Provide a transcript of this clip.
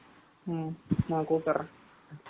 ம்ம், நான் கூப்பிடுறேன்